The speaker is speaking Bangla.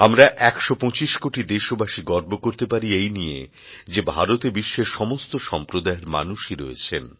আমরা একশো পঁচিশ কোটি দেশবাসী গর্ব করতে পারি এই নিয়ে যে ভারতে বিশ্বের সমস্ত সম্প্রদায়ের মানুষই রয়েছেন